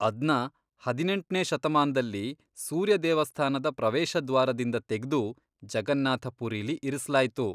ಅದ್ನ ಹದಿನೆಂಟ್ನೇ ಶತಮಾನ್ದಲ್ಲಿ ಸೂರ್ಯ ದೇವಸ್ಥಾನದ ಪ್ರವೇಶದ್ವಾರದಿಂದ ತೆಗ್ದು ಜಗನ್ನಾಥ ಪುರಿಲಿ ಇರಿಸ್ಲಾಯ್ತು.